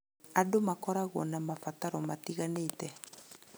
Andũ makoragwo na mabataro matiganĩte.